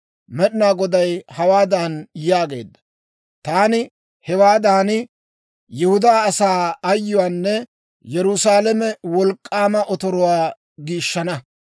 «Med'inaa Goday hawaadan yaagee; ‹Taani hewaadan Yihudaa asaa ayyuwaanne Yerusaalame wolk'k'aama otoruwaa giishshana.